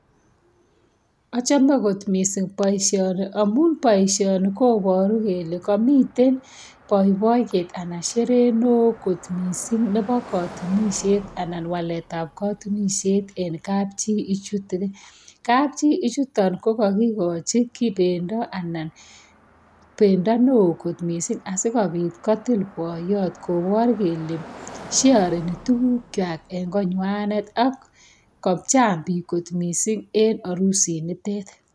Achome kot missing boisioni amun boisioni koboru kole komiten boiboiyet anan sherehe neoo missing nebo katunisiet anan waletab katunisiet en kapchi ichuton kapchi ichuton ko kakikochi ki bendo anan bendo neoo missing asikobit kotil boiyot kobor kele sheoreni tuguk kwak en konywanet ak kochang biik missing en arusit nitet